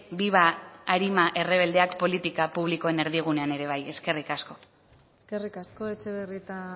viva arima errebeldeak politika publikoen erdigunean ere bai eskerrik asko eskerrik asko etxebarrieta